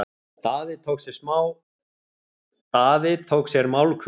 Daði tók sér málhvíld.